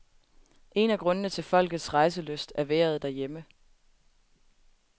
En af grundene til folkets rejselyst er vejret derhjemme.